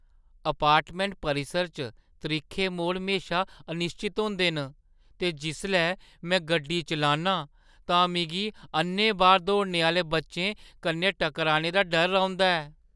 Apartment परिसर च त्रिक्खे मोड़ म्हेशा अनिश्चत होंदे न ते जिसलै में गड्डी चलान्नां तां मिगी अ'न्नैबाह् दौड़ने आह्‌ले बच्चें कन्नै टकराने दा डर रौंह्‌दा ऐ।